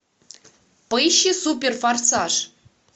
поищи супер форсаж